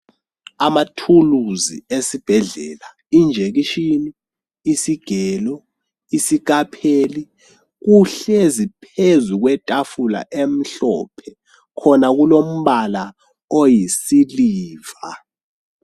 Amathuluzi esibhedlela, injekitsheni, isigelo, isikapheli kuhlezi phezu kwetafula emhlophe khona kulombala oyisiliva.